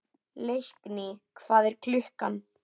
Leikný, hvað er klukkan?